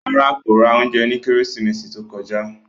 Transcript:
No, he did not buy food last christmas